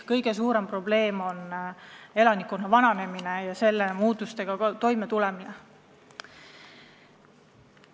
Kõige suurem probleem on elanikkonna vananemine ja selle mõjudega toimetulemine.